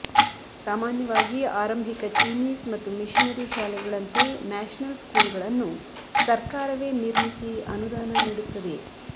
ಸಾಮಾನ್ಯವಾಗಿ ಆರಂಭಿಕ ಚೀನೀಸ್ ಮತ್ತು ಮಿಶನರಿ ಶಾಲೆಗಳಂತೆ ನ್ಯಾಶನಲ್ ಸ್ಕೂಲ್ ಗಳನ್ನು ಸರ್ಕಾರವೇ ನಿರ್ಮಿಸಿ ಅನುದಾನ ನೀಡುತ್ತದೆ